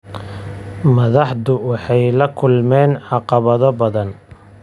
Madaxdu waxay la kulmeen caqabado badan.